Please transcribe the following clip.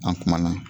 An kumana